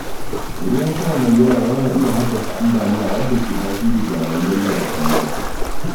Ruwan sama mai yawa yana iya haddasa ambaliya, wanda ke tasiri ga rayuwar yau da kullum.